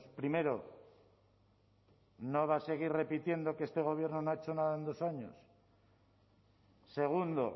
primero no va a seguir repitiendo que este gobierno no ha hecho nada en dos años segundo